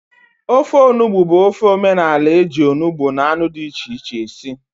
Ofe onugbụ bụ ofe omenala eji onugbụ na anụ dị iche iche esi